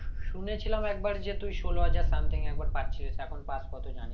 শুনেছিলাম একবার যে তুই ষোলো হাজার something একবার পাচ্ছিলিশ এখন পাস কত জানিনা